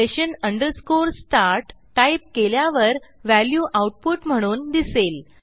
session start type केल्यावर value output म्हणून दिसेल